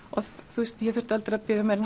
þú veist ég þurfti aldrei að bíða meira